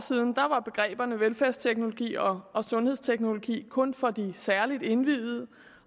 siden var begreberne velfærdsteknologi og og sundhedsteknologi kun for de særligt indviede